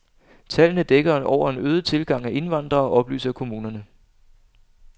Tallene dækker over en øget tilgang af indvandrere oplyser kommunerne.